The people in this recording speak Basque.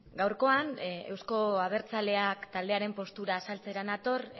gaurkoan euzko abertzaleak taldearen postura azaltzera nator